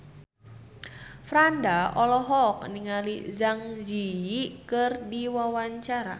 Franda olohok ningali Zang Zi Yi keur diwawancara